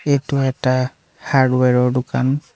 এইটো এটা হাৰ্ডৱেৰ ৰ দোকান।